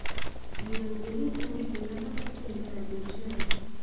Diiwaangelintu waxay nabad ku keentaa bulshada.